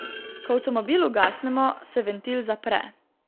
Ko avtomobil ugasnemo, se ventil zapre.